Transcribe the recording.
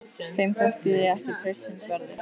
Þeim þótti ég ekki traustsins verður.